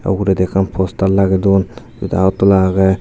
uguredi ekkan poster lagedun syot Agartala agey.